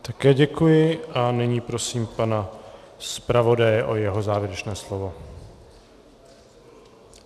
Také děkuji a nyní prosím pana zpravodaje o jeho závěrečné slovo.